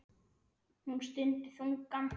Hún stundi þungan.